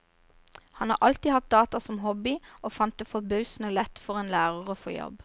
Han har alltid hatt data som hobby, og fant det forbausende lett for en lærer å få jobb.